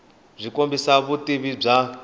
byi kombisa vutivi bya